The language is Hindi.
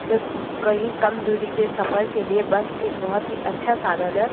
कही कम दूरी के सफर के लिए बस एक बहोत (बहुत) ही अच्छा साधन है।